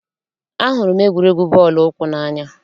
Ahụrụ m egwuregwu bọọlụ ụkwụ n'anya.